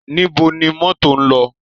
Níbo ni mọ́tò ń lọ?